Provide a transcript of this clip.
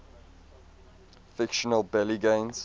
fictional belgians